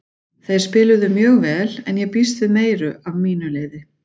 Þeir spiluðu mjög vel en ég býst við meiru af mínu liði.